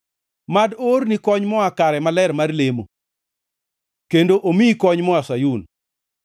Mad oorni kony moa kare maler mar lemo kendo omiyi kony moa Sayun.